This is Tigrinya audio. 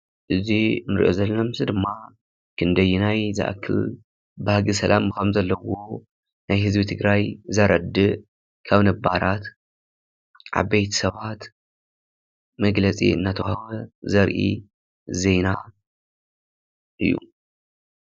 እዚ እንሪኦ ዘለና ምሰሊ ድማ ክንደየናይ ዝአክል ባህጊ ሰላም ከምዘለዎ ፤ ናይ ህዝቢ ትግራይ ዘረድእ ካብ ነባራት ዓበይቲ ሰባት መግለፂ እናተውሃበ ዘርኢ ዜና እዩ፡፡